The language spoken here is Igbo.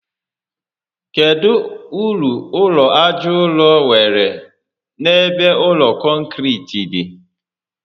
Kedụ uru ụlọ aja ụrọ nwèrè n'ebe ụlọ kọnkiriti dị?